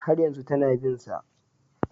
Har yanzu tana bin sa